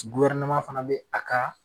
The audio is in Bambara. Guwɛrineman fana be a ka